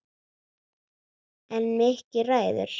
En Mikki ræður.